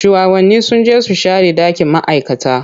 Shuwagabanni sun je su share dakin ma'aikata.